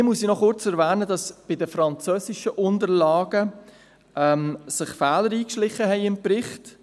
Hier muss ich noch kurz erwähnen, dass sich bei den französischen Unterlagen Fehler in den Bericht eingeschlichen haben.